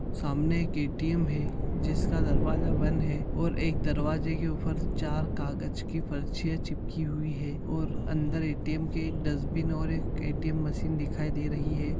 सामने एक ए.टी.एम. है जिसका दरवाजा बंद है और एक दरवाजे के ऊपर चार कागज की पर्चियां चिपकी हुई हैं और अंदर ए.टी.एम. के एक डस्टबीन और एक ए.टी.एम. मशीन दिखाई दे रही है।